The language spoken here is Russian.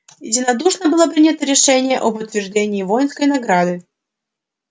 единодушно было принято решение об утверждении воинской награды